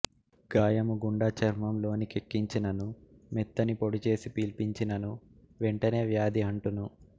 గాయము గుండ చర్మములోని కెక్కించినను మెత్తని పొడి చేసి పీల్పించినను వెంటనే వ్యాధి అంటును